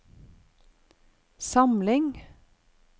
samling